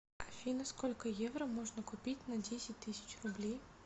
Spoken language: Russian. афина сколько евро можно купить на десять тысяч рублей